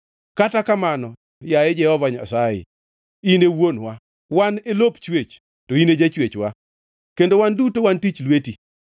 Kata kamano, yaye Jehova Nyasaye, in e Wuonwa. Wan e lop chwech, to ine jachwechwa; kendo wan duto wan tich lweti.